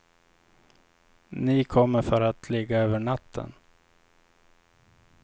Ni kommer för att ligga över natten.